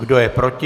Kdo je proti?